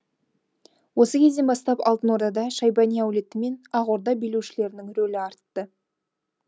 осы кезден бастап алтын ордада шайбани әулеті мен ақ орда билеушілерінің рөлі артты